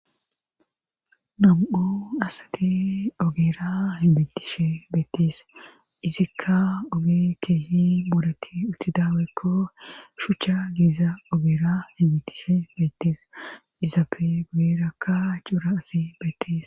namu7o asate ogeera hibitishe beettees izikka oge keehi boretti uttidawekko shuchcha geeza ogeera hibitishe bettis izapfe guyerakka cuura asi beettees